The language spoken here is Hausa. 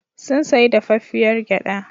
Sun sayi dafaffiyar gyaɗa.